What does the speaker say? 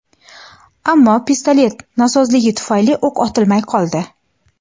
Ammo pistolet nosozligi tufayli o‘q otilmay qoldi.